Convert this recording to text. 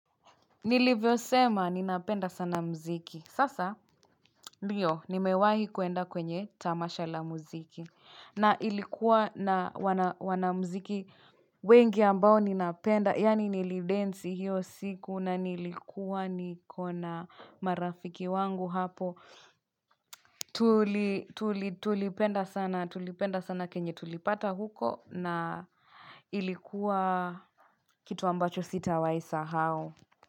Nilivyo sema, ninapenda sana mziki. Sasa, ndio, nimewahi kuenda kwenye tamasha la mziki. Na ilikuwa na wanamziki wengi ambao ninapenda, yaani nilidensi hiyo siku na nilikuwa nikona marafiki wangu hapo. Tulipenda sana kenye tulipata huko na ilikuwa kitu ambacho sitawahi isahau.